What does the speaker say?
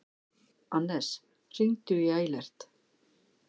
Annes, hringdu í Eilert.